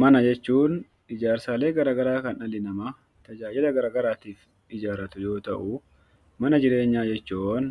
Mana jechuun ijaarsaalee garagaraa kan dhalli namaa tajaajila garagaraatiif ijaarratu yoo ta'u, mana jireenyaa jechuun